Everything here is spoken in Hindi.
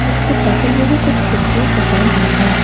इसके बगल में भी कुछ कुर्सियां सजाई हुई है।